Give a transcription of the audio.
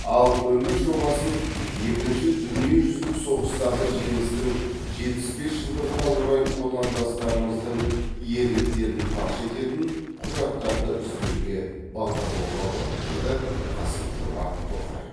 ал үміт жобасын екінші дүниежүзілік соғыстағы жеңістің жетпіс бес жылдығына орай отандастарымыздың ерліктерін паш ететін құжаттарды іздеуге бағдарлауға болады деді қасым жомарт тоқаев